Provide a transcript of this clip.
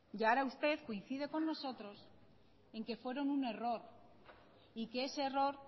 y ahora usted coincide con nosotros en que fueron un error y que ese error